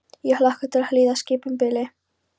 Ég hlakka til að hlýða skipun Bili?